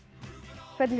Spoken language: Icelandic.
hvernig